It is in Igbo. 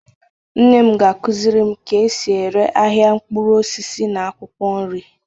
nne m ga-akuzirim ka esi ere ahia nkpuru osisi na akwukwo nri